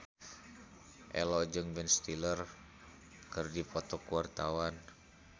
Ello jeung Ben Stiller keur dipoto ku wartawan